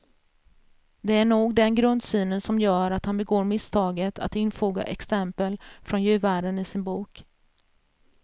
Det är nog den grundsynen som gör att han begår misstaget att infoga exempel från djurvärlden i sin bok.